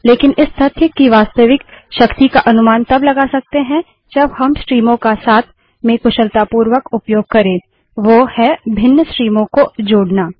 लेकिन इस तथ्य की वास्तविक शक्ति का अनुमान तब लगा सकते हैं जब हम स्ट्रीमों का साथ में कुशलतापूर्वक उपयोग करें वो है भिन्न स्ट्रीमों को जोड़ना